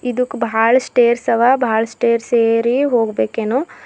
ಇದುಕ್ ಭಾಳ್ ಸ್ಟೈರ್ಸ್ ಅವ ಭಾಳ್ ಸ್ಟೈರ್ಸ್ ಏರಿ ಹೋಗಬೇಕೇನೋ.